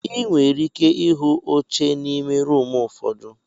Ị nwere ike ịhụ oche n'ime rumụ ụfọdụ.